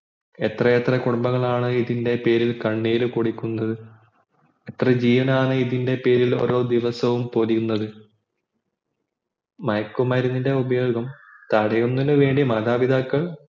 എത്രയെത്ര കുടുംബങ്ങളാണ് ഇതിൻ്റെ പേരിൽ കണ്ണീർ കുടിക്കുന്നത് എത്ര ജീവനാണ് ഇതിൻ്റെ പേരിൽ പൊടിയുന്നത മയക്കുമരുന്നിൻ്റെ ഉപയോഗം തടയുമുണത്തിന് വേണ്ടി മാതാപിതാക്കൾ